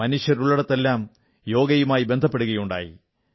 മനുഷ്യനുള്ളിടത്തെല്ലാം യോഗയുമായി ബന്ധപ്പെടുകയുണ്ടായി